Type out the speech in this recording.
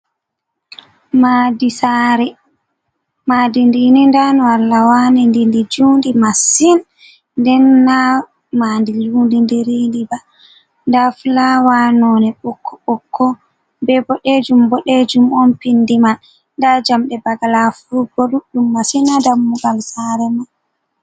Madi sare, Madi ndi ni nda no Allah wani ɗi ndi jundi masin, denna ma ndi njuni diridi ba, nda filawa none :okko ɓokko, be boɗejum boɗejum on pindi man, nda njamɗe bagala furup bo duddum masin, ha dammugal sare man